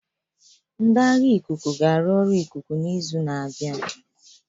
Ndị agha ikuku ga-arụ ọrụ ikuku n'izu na-abịa.